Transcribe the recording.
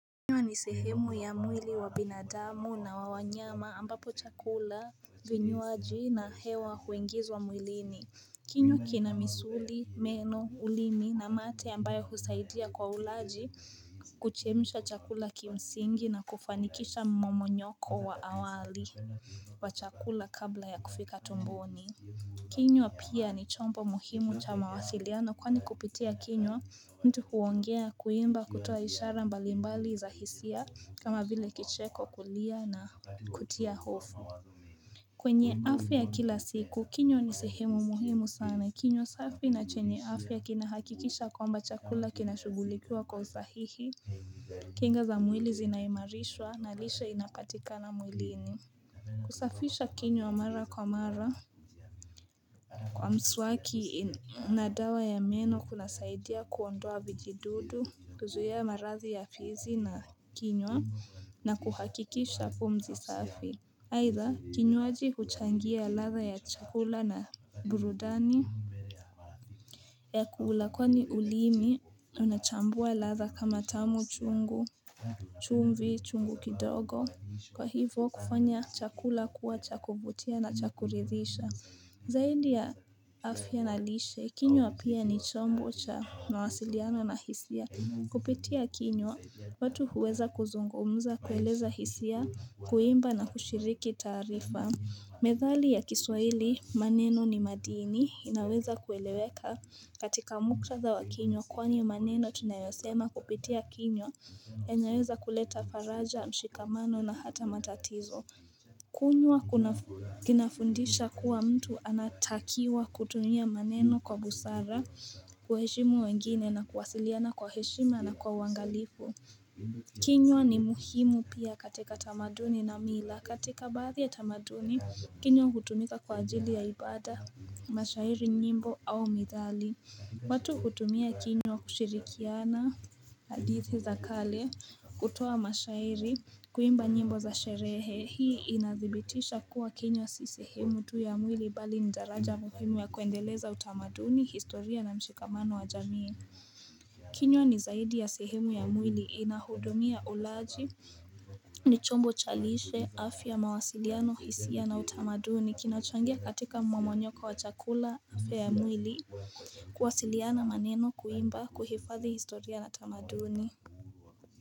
Kinywa ni sehemu ya mwili wa binadamu na wa wanyama ambapo chakula vinywaji na hewa huingizwa mwilini. Kinywa kina misuli, meno, ulimi na mate ambayo husaidia kwa ulaji kuchemsha chakula kimsingi na kufanikisha mmomonyoko wa awali wa chakula kabla ya kufika tomboni. Kinywa pia ni chombo muhimu cha mawasiliano kwani kupitia kinywa mtu huongea kuimba kutoa ishara mbalimbali za hisia kama vile kicheko kulia na kutia hofu kwenye afya ya kila siku kinywa ni sehemu muhimu sana kinywa safi na chenye afya kinahakikisha kwamba chakula kinashugulikiwa kwa usahihi kinga za mwili zinaimarishwa na lishe inapatikana mwilini kusafisha kinywa mara kwa mara Kwa mswaki na dawa ya meno kunasaidia kuondoa vijidudu, kuzuia marathi ya fizi na kinywa na kuhakikisha pumzi safi aidha kinywaji kuchangia ladha ya chakula na burudani ya kula kwani ulimi unachambua ladha kama tamu chungu chumvi chungu kidogo Kwa hivyo kufanya chakula kuwa cha kuvutia na cha kuridhisha Zaidi ya afya na lishe, kinywa pia ni chombo cha mawasiliano na hisia. Kupitia kinywa, watu huweza kuzungumza kueleza hisia, kuimba na kushiriki taarifa. Methali ya kiswahili, maneno ni madini, inaweza kueleweka katika muktatha wa kinywa, kwani maneno tunayosema kupitia kinyo, yanaweza kuleta faraja, mshikamano na hata matatizo. Kunwa kinafundisha kuwa mtu anatakiwa kutumia maneno kwa busara kuwaheshimu wengine na kuwasiliana kwa heshima na kwa uangalifu kinywa ni muhimu pia katika tamaduni na mila katika baadhi ya tamaduni kinywa hutumika kwa ajili ya ibada mashairi nyimbo au methali watu hutumia kinywa kushirikiana hadithi za kale kutoa mashairi kuimba nyimbo za sherehe hii inathibitisha kuwa kinywa si sehemu tu ya mwili bali ni daraja muhimu ya kuendeleza utamaduni historia na mshikamano wa jamii kinywa ni zaidi ya sehemu ya mwili inahudumia ulaji ni chombo cha lishe afya mawasiliano hisia na utamaduni kinachangia katika mmomonyoko wa chakula afya ya mwili kuwasiliana maneno kuimba kuhifathi historia na utamaduni.